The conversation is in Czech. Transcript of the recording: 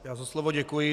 Já za slovo děkuji.